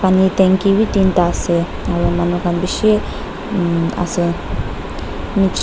aro tangki bi tinta ase aro manu kan bishi um ase mm.